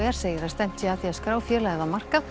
segir að stefnt sé að því að skrá félagið á markað